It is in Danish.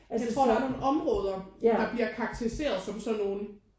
Jeg tror at der er nogen områder der bliver karakteriseret som sådan nogen